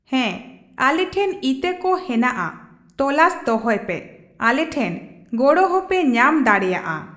ᱦᱚᱸ ᱟᱞᱮ ᱴᱷᱮᱱ ᱤᱛᱟᱹ ᱠᱚ ᱦᱮᱱᱟᱜᱼᱟ ᱾ ᱛᱚᱞᱟᱥ ᱫᱚᱦᱚᱭ ᱯᱮ ᱾ ᱟᱞᱮ ᱴᱷᱮᱱ ᱜᱚᱲᱚ ᱦᱚᱸᱯᱮ ᱧᱟᱢ ᱫᱟᱲᱮᱭᱟᱜᱼᱟ᱾